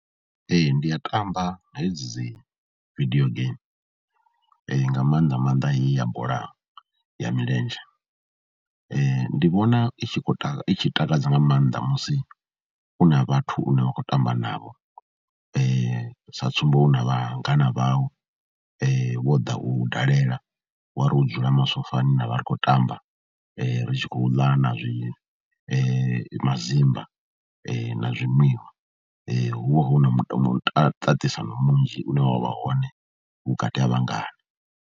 Ee, ndi a tamba hedzi dzi vidio gaimi nga maanḓa maanḓa heyi ya bola ya milenzhe. Ndi vhona i tshi khou i tshi takadza nga maanḓa musi u na vhathu une wa khou tamba navho, sa tsumbo u na vhangana vhau vho ḓa u dalela wa ri u dzula masofani ra vha ri khou tamba, ri tshi khou ḽa na zwi mazimba na zwi nwiwa, hu vha hu na mutakadzisano munzhi une wa vha hone vhukati ha vhangana.